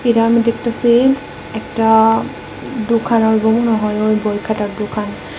যা আমি দেখতাসি একটা দোখান হইবো মনে হয় ওই বইখাতার দোকান।